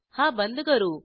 हा बंद करू